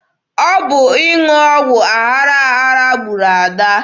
Ọ bụ ịṅụ ọgwụ aghara aghara gburu Ada.